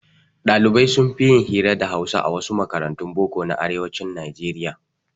Ɗalibai sunfi yin hira da hausa a wasu makarantun boko na arewacin nijeriya